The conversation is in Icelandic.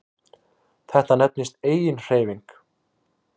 Þetta nefnist eiginhreyfing.